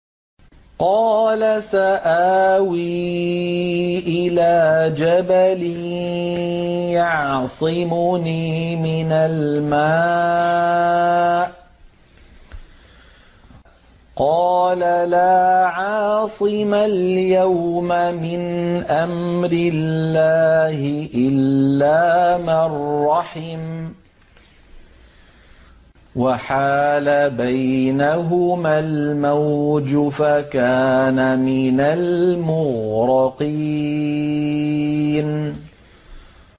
قَالَ سَآوِي إِلَىٰ جَبَلٍ يَعْصِمُنِي مِنَ الْمَاءِ ۚ قَالَ لَا عَاصِمَ الْيَوْمَ مِنْ أَمْرِ اللَّهِ إِلَّا مَن رَّحِمَ ۚ وَحَالَ بَيْنَهُمَا الْمَوْجُ فَكَانَ مِنَ الْمُغْرَقِينَ